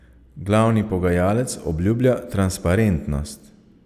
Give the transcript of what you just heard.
Glavni pogajalec obljublja transparentnost.